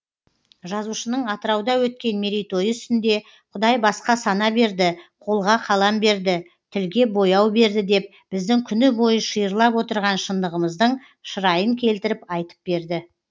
жазушының атырауда өткен мерейтойы үстінде құдай басқа сана берді қолға қалам берді тілге бояу берді деп біздің күнібойы шиырлап отырған шындығымыздың шырайын келтіріп айтып берді